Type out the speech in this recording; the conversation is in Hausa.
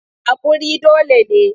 Haƙuri dole ne.